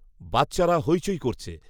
বাচ্চারা হৈচৈ করছে